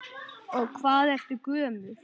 Og hvað ertu gömul?